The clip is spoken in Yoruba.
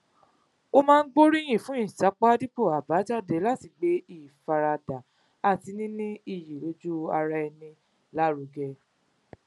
ó máa ń gbóríyìn fún ìsapá dípò àbájáde láti gbé ìfaradà àti níní iyì lójú ara ẹni lárugẹ